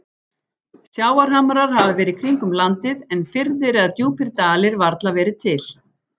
Sjávarhamrar hafa verið kringum landið, en firðir eða djúpir dalir varla verið til.